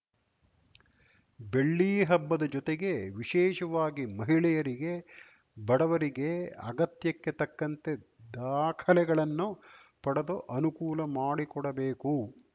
ಬೆಳ್ಳಿಹಬ್ಬದ ಜೊತೆಗೆ ವಿಶೇಷವಾಗಿ ಮಹಿಳೆಯರಿಗೆ ಬಡವರಿಗೆ ಅಗತ್ಯಕ್ಕೆ ತಕ್ಕಂತೆ ದಾಖಲೆಗಳನ್ನು ಪಡೆದು ಅನುಕೂಲ ಮಾಡಿಕೊಡಬೇಕು